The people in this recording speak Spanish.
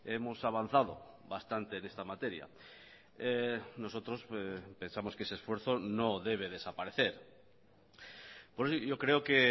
hemos avanzado bastante en esta materia nosotros pensamos que ese esfuerzo no debe desaparecer yo creo que